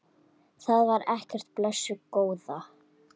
Það var ekkert, blessuð góða.